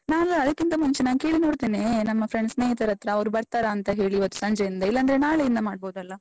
ನಾನು ಅದಕ್ಕಿಂತ ಮುಂಚೆ ನಾನು ಕೇಳಿ ನೋಡ್ತೇನೆ, ನಮ್ಮ friends ಸ್ನೇಹಿತರತ್ರ, ಅವ್ರು ಬರ್ತಾರಾಂತ ಹೇಳಿ ಇವತ್ತು ಸಂಜೆಯಿಂದ, ಇಲ್ಲಾಂದ್ರೆ ನಾಳೆಯಿಂದ ಮಾಡ್ಬೋದಲ್ಲ?